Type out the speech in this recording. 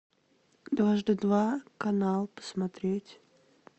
дважды два канал посмотреть